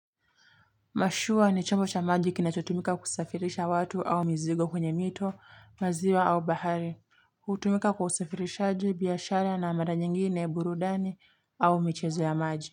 Mashua ni chombo cha maji kinachotumika kusafirisha watu au mizigo kwenye mito, maziwa au bahari. Hutumika kwa usafirishaji, biashara na mara nyingine burudani au michezo ya maji.